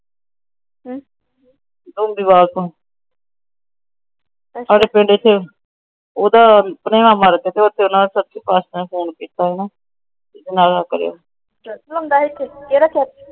ਸਾਡੇ ਪਿੰਡ ਚ ਉਂਦਾ ਭਣੇਵਾਂ ਮਰ ਗਿਆ ਨਾ। ਏਸੇ ਵਾਸਤੇ ਓਹਨਾ ਫੋਨ ਕੀਤਾ ਹੋਣਾ।